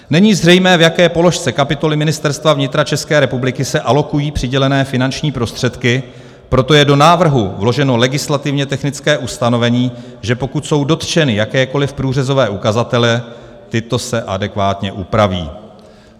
Není zřejmé, v jaké položce kapitoly Ministerstva vnitra České republiky se alokují přidělené finanční prostředky, proto je do návrhu vloženo legislativně technické ustanovení, že pokud jsou dotčeny jakékoliv průřezové ukazatele, tyto se adekvátně upraví.